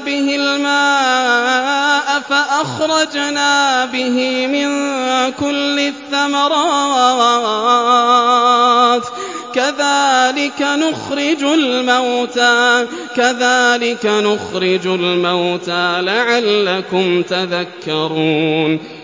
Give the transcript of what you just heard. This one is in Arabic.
بِهِ الْمَاءَ فَأَخْرَجْنَا بِهِ مِن كُلِّ الثَّمَرَاتِ ۚ كَذَٰلِكَ نُخْرِجُ الْمَوْتَىٰ لَعَلَّكُمْ تَذَكَّرُونَ